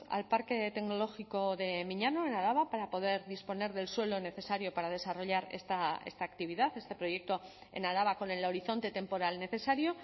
al parque tecnológico de miñano en araba para poder disponer del suelo necesario para desarrollar esta actividad este proyecto en araba con el horizonte temporal necesario